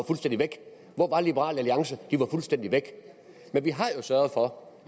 fuldstændig væk hvor var liberal alliance de var fuldstændig væk men vi har sørget for